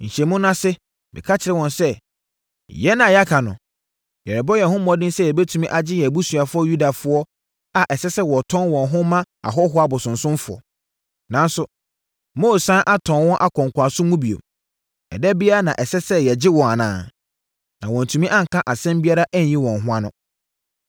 Nhyiamu no ase, meka kyerɛɛ wɔn sɛ, “Yɛn a yɛaka no, yɛrebɔ yɛn ho mmɔden sɛ yɛbɛtumi agye yɛn abusuafoɔ Yudafoɔ a ɛsɛ sɛ wɔtɔn wɔn ho ma ahɔhoɔ abosonsomfoɔ. Nanso, moresan atɔn wɔn akɔ nkoasom mu bio. Ɛda biara na ɛsɛ sɛ yɛgye wɔn anaa?” Na wɔantumi anka asɛm biara anyi wɔn ho ano.